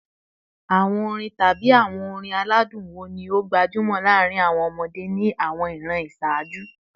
Awọn orin tabi awọn orin aladun wo ni o gbajumo laarin awọn ọmọde ni awọn iran iṣaaju?